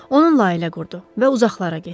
Onunla ailə qurdu və uzaqlara getdi.